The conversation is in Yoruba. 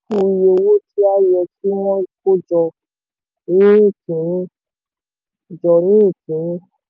iye owó tí a yẹ kí wọ́n kó jọ ní kínní. jọ ní kínní.